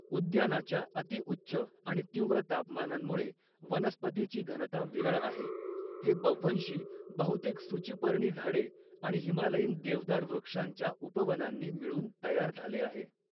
उद्यानाच्या अति उच्च आणि तीव्र तापमानांमुळे वनस्पतीची घनता विरळ आहे, हे बव्हंशी बहुतेक सूचीपर्णी झाडे आणि हिमालयीन देवदार वृक्षांच्या उपवनांनी मिळून तयार झाले आहे.